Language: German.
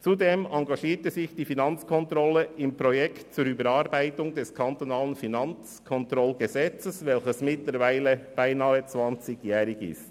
Zudem engagierte sich die Finanzkontrolle im Projekt zur Überarbeitung des KFKG, welches mittlerweile beinahe zwanzigjährig ist.